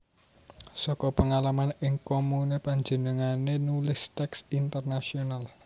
Saka pengalaman ing komune panjenengane nulis teks Intenasional